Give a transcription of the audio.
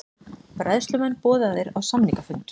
Bræðslumenn boðaðir á samningafund